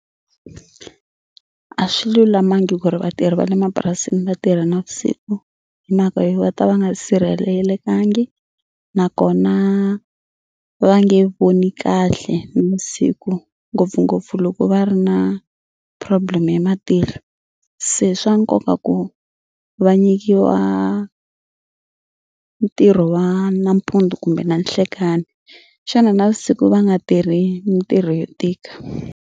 A swi lulamangi ku ri vatirhi va le mapurasini va tirha navusiku hi mhaka yo va ta va nga sirhelelekangiki nakona va nge voni kahle nivusiku ngopfungopfu loko va ri na problem ya matihlo se swa nkoka ku va nyikiwa ntirho wa nampundzu kumbe nanhlekani xana navusiku va nga tirhi mitirho yo tika.